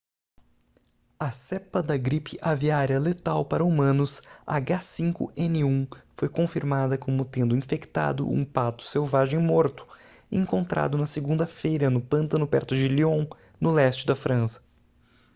a cepa da gripe aviária letal para humanos h5n1 foi confirmada como tendo infectado um pato selvagem morto encontrado na segunda-feira no pântano perto de lyon no leste da frança